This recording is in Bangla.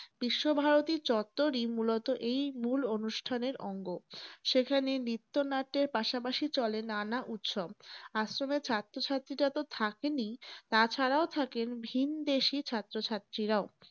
বিশ্ব ভারতী চত্বরই মূলতঃ এই মূল অনুষ্ঠানের অঙ্গ। সেখানে নৃত্যনাট্যের পাশাপাশি চলে নানা উৎসব । আশ্রমের ছাত্র ছাত্রীরা তো থাকেনই তাছাড়াও থাকেন ভিনদেশী ছাত্র ছাত্রীরাও।